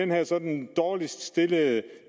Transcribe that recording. mister den dårligst stillede